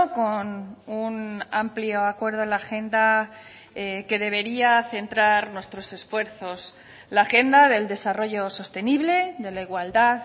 con un amplio acuerdo en la agenda que debería centrar nuestros esfuerzos la agenda del desarrollo sostenible de la igualdad